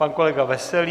Pan kolega Veselý.